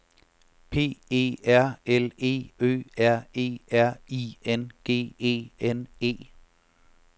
P E R L E Ø R E R I N G E N E